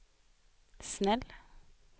snäll